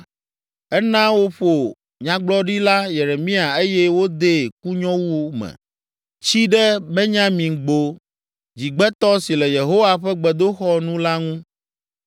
ena woƒo Nyagblɔɖila Yeremia eye wodee kunyowu me, tsi ɖe Benyamingbo dzigbetɔ si le Yehowa ƒe gbedoxɔ nu la ŋu.